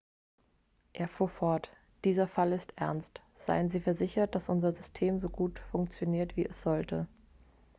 er fuhr fort dieser fall ist ernst seien sie versichert dass unser system so gut funktioniert wie es sollte